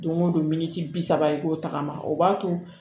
Don o don miniti bi saba i k'o tagama o b'a to